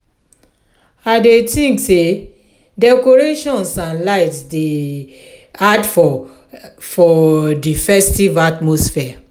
i dey think say decorations and lights dey add for for di festive atmosphere